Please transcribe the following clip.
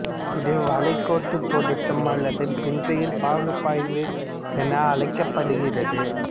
இது வளைக்கோட்டுப் பொருத்தம் அல்லது பின்செயல் பகுப்பாய்வு என அழைக்கப்படுகிறது